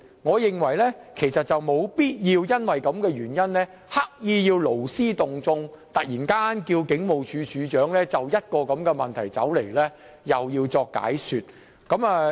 我認為沒有必要為了這個議題而勞師動眾，突然要求警務處處長前來立法會作出解說。